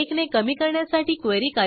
उपलब्ध प्रतींची संख्या वाढलेली दिसेल